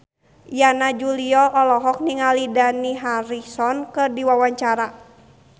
Yana Julio olohok ningali Dani Harrison keur diwawancara